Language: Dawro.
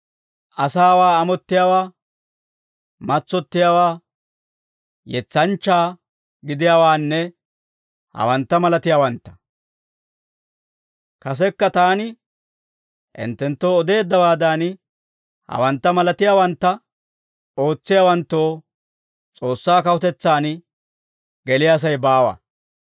asaawaa amottiyaawaa, matsottiyaawaa, yetsanchchaa gidiyaawaanne hawantta malatiyaawantta. Kasekka taani hinttenttoo odeeddawaadan, hawantta malatiyaawantta ootsiyaawanttoo S'oossaa kawutetsaan geliyaasay baawa.